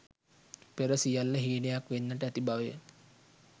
පෙර සියල්ල හීනයක් වෙන්නට ඇති බවය.